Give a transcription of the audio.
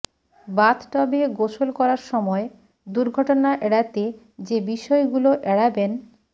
বাথটবে গোসল করার সময় দুর্ঘটনা এড়াতে যে বিষয়গুলো এড়াবেন